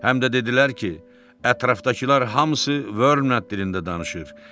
Həm də dedilər ki, ətrafdakılar hamısı Vörmland dilində danışır.